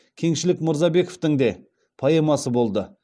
кеңшілік мырзабековтің де поэмасы болды